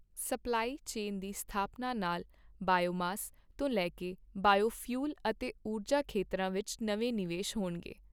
Supply chain ਦੀ ਸਥਾਪਨਾ ਨਾਲ ਬਾਇਓਮਾਸ ਤੋਂ ਲੈ ਕੇ ਬਾਇਓਫਿਊਲ ਅਤੇ ਊਰਜਾ ਖੇਤਰਾਂ ਵਿੱਚ ਨਵੇਂ ਨਿਵੇਸ਼ ਹੋਣਗੇ।